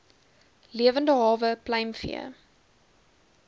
lewende hawe pluimvee